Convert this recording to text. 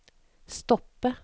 stoppe